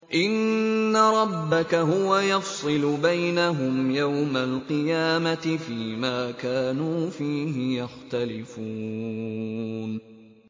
إِنَّ رَبَّكَ هُوَ يَفْصِلُ بَيْنَهُمْ يَوْمَ الْقِيَامَةِ فِيمَا كَانُوا فِيهِ يَخْتَلِفُونَ